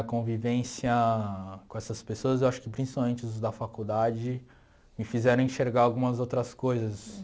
A convivência com essas pessoas, eu acho que principalmente os da faculdade, me fizeram enxergar algumas outras coisas